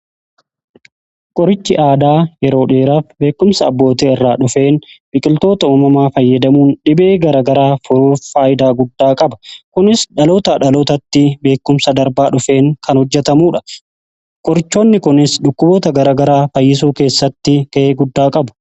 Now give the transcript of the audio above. Qorichi aadaa yeroo dheeraaf beekumsa abboota irraa dhufeen biqiltoota uumamaa fayyadamuun dhibee gara garaa furuuf faayidaa guddaa qaba. Kunis dhalootaa dhalootatti beekumsa darbaa dhufeen kan hojjetamudha. Qorichoonni kunis dhukkuboota gara garaa fayyisuu keessatti gahee guddaa qabu.